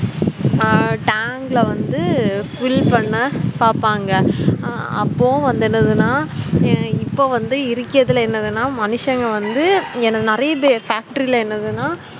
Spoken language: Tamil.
அஹ் tank ல வந்து fill பண்ண பாப்பாங்க அப்போ என்னதுனா இப்போவந்து இருகதுலே என்னதுன மனுசங்க வந்து நெறைய பேர factory ல என்னதுனா